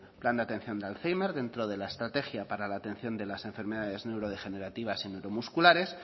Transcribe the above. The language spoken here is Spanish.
plan de atención de alzhéimer dentro de la estrategia para la atención de las enfermedades neurodegenerativas y neuromusculares